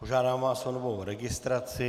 Požádám vás o novou registraci.